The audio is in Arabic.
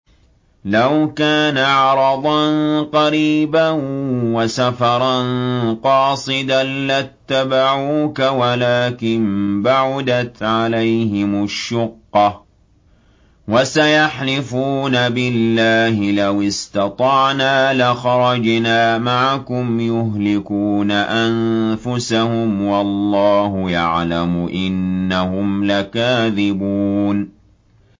لَوْ كَانَ عَرَضًا قَرِيبًا وَسَفَرًا قَاصِدًا لَّاتَّبَعُوكَ وَلَٰكِن بَعُدَتْ عَلَيْهِمُ الشُّقَّةُ ۚ وَسَيَحْلِفُونَ بِاللَّهِ لَوِ اسْتَطَعْنَا لَخَرَجْنَا مَعَكُمْ يُهْلِكُونَ أَنفُسَهُمْ وَاللَّهُ يَعْلَمُ إِنَّهُمْ لَكَاذِبُونَ